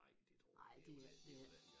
Nej det tror jeg ikke det var